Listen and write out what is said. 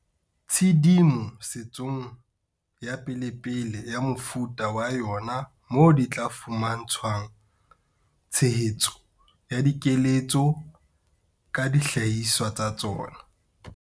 Tshedimo setsong ya pelepele ya mofuta wa yona moo di tla fuma ntshwang tshehetso ya dikeletso ka dihlahiswa tsa tsona.